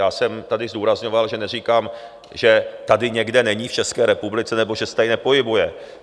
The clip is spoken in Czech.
Já jsem tady zdůrazňoval, že neříkám, že tady někde není v České republice nebo že se tady nepohybuje.